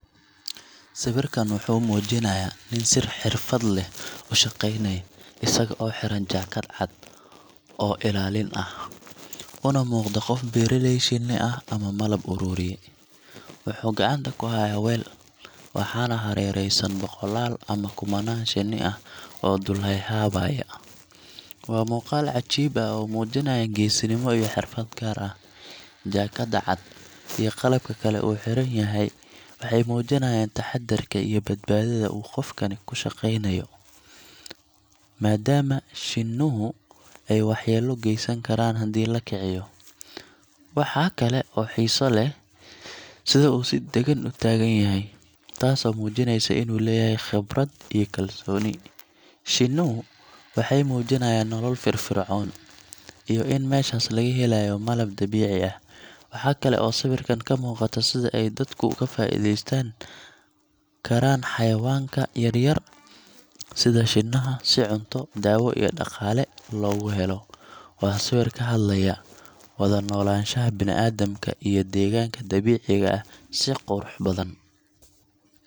Sawirkan wuxuu muujinayaa nin si xirfad leh u shaqaynaya, isaga oo xiran jaakad cad oo ilaalin ah, una muuqda qof beeraley shinni ah ama malab-ururiye. Wuxuu gacanta ku hayaa weel, waxaana hareeraysan boqolaal ama kumanaan shinni ah oo dul heehaabaya. Waa muuqaal cajiib ah oo muujinaya geesinimo iyo xirfad gaar ah. Jaakadda cad iyo qalabka kale ee uu xiran yahay waxay muujinayaan taxaddarka iyo badbaadada uu qofkani ku shaqaynayo, maadaama shinnuhu ay waxyeello geysan karaan haddii la kiciyo. Waxa kale oo xiiso leh sida uu si dagan u taagan yahay, taasoo muujinaysa inuu leeyahay khibrad iyo kalsooni. Shinnuhu waxay muujinayaan nolol firfircoon, iyo in meeshaas laga helayo malab dabiici ah. Waxa kale oo sawirkan ka muuqata sida ay dadku uga faa’iideysan karaan xayawaanka yar-yar sida shinnaha si cunto, daawo iyo dhaqaale loogu helo. Waa sawir ka hadlaya wada noolaanshaha bini’aadamka iyo deegaanka dabiiciga ah si qurux badan.